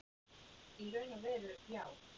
Í raun og veru já.